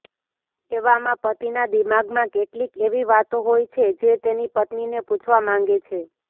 એવામાં પતિના દિમાગમાં કેટલીક એવી વાતો હોય છે જે તેની પત્નીને પૂછવા માંગે છે